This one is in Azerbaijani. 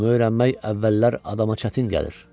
Bunu öyrənmək əvvəllər adama çətin gəlir.